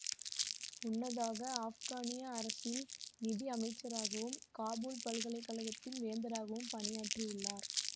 முன்னதாக ஆப்கானிய அரசில் நிதி அமைச்சராகவும் காபூல் பல்கலை கழகத்தின் வேந்தராகவும் பணியாற்றி உள்ளார்